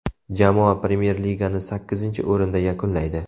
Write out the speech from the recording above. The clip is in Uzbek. Jamoa Premyer Ligani sakkizinchi o‘rinda yakunlaydi.